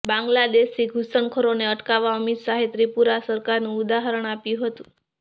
બાંગ્લાદેશી ઘુસણખોરોને અટકાવવા અમિત શાહે ત્રિપુરા સરકારનું ઉદાહરણ આપ્યું હતું